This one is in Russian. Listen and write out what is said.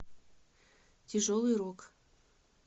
тяжелый рок